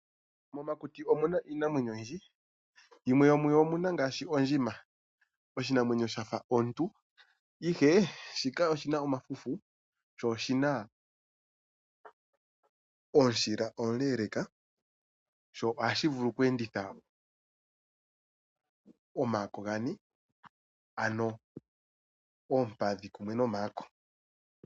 Momakuti omu na iinamwenyo oyindji. Yimwe yomuyo oyo ondjima. Oshinamwenyo sha fa omuntu, ihe shika oshi na omafufu sho oshina omushila omuleeleeka sho ohashi vulu oku enditha omagulu gane, ano oompadhi kumwe nomayako.